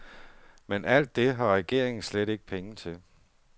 Men alt det har regeringen slet ikke penge til.